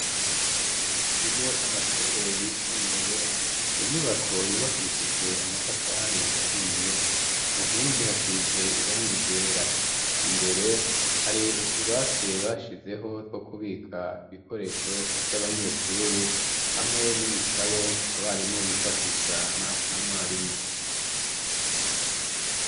Mu kigo c'amashure yisumbuye, inyubako yubakishije amatafari ahiye, ku nkingi hasize irangi ryera. Imbere hari utubati bashizeho two kubika ibikoresho vy'abanyeshuri, hamwe n'ibitabo abarimwo bifashisha na mwarimu.